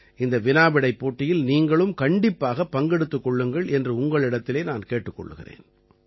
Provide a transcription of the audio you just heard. இந்த வினாவிடைப் போட்டியில் நீங்களும் கண்டிப்பாகப் பங்கெடுத்துக் கொள்ளுங்கள் என்று உங்களிடத்திலே நான் கேட்டுக் கொள்கிறேன்